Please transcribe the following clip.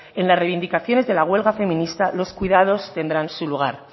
en las reivindicaciones de la huelga feminista los cuidados tendrán su lugar